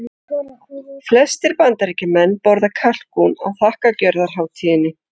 Flestir Bandaríkjamenn borða kalkún á þakkargjörðarhátíðinni.